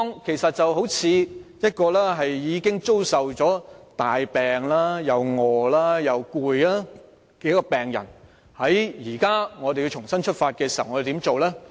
其實情況有如一名身患重病、又餓又累的病人，現在如要重新出發，我們應怎樣做呢？